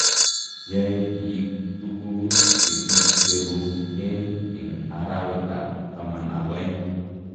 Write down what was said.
Yoe biik tukuu che kicherugei eng arawekab taman ako oeng.